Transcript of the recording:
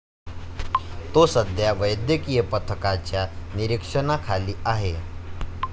तो सध्या वैद्यकीय पथकाच्या निरीक्षणाखाली आहे.